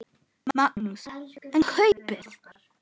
Magnús: En kaupið?